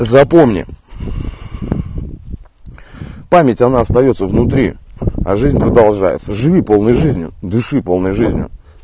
запомни память она остаётся внутри а жизнь продолжается живи полной жизнью дыши полной жизнью